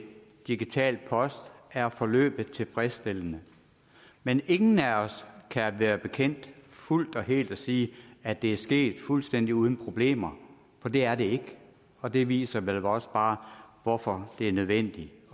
digital post er forløbet tilfredsstillende men ingen af os kan være bekendt fuldt og helt at sige at det er sket fuldstændig uden problemer for det er det ikke og det viser vel også bare hvorfor det er nødvendigt